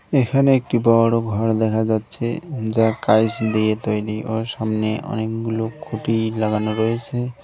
এখানে একটি বড় ঘর দেখা যাচ্ছে যা কাইচ দিয়ে তৈরি ও সামনে অনেকগুলো খুঁটি লাগানো রয়েছে।